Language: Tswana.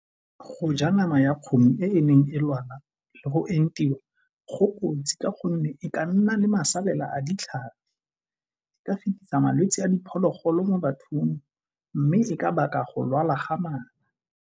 Go ja nama ya kgomo e e neng e lwala le go entiwa go kotsi ka gonne e ka nna le masalela a ditlhare, e ka fetisa malwetsi a diphologolo mo bathong mme le ka baka go lwala ga mala.